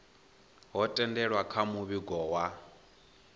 ho themendelwa kha muvhigo wa